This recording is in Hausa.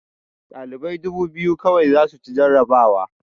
Ɗalibai dubu biyu kawai za su ci jarabawa